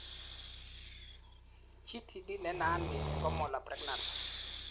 GTD nenaat missing ko molar pregnancy